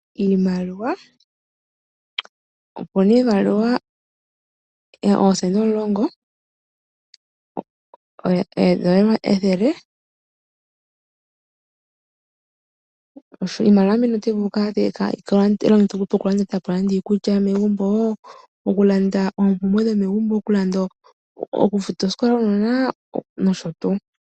Iimaliwa Opu na iimaliwa oosenda omulongo nethele. Iimaliwa mbino otayi vulu okulongithwa okulanda iikulya megumbo, okulanda oompumbwe dhomegumbo, okufuta oosikola dhuunona nosho tuu.